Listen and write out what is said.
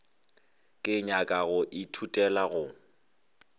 ke nyaka go ithutela go